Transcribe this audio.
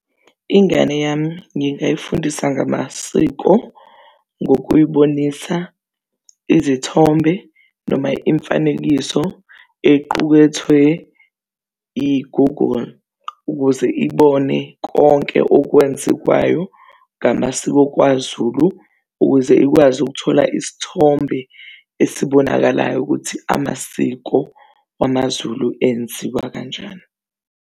Ingane yami ngingayifundisa ngamasiko ngokuyibonisa izithombe noma imifanekiso equkethwe i-Google ukuze ibone konke okwenzekayo ngamasiko KwaZulu ukuze ikwazi ukuthola isithombe esibonakalayo ukuthi amasiko wamazulu enziwa kanjani.